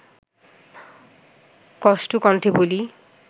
কষ্ট-কণ্ঠে বলি